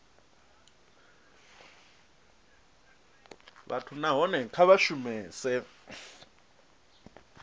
vhathu nahone kha vha shumese